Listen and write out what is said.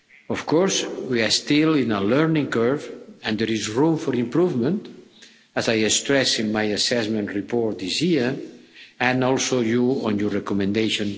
Of course, we are still on a learning curve and there is room for improvement, as I stressed in my assessment report this year and as you point out in your recommendation.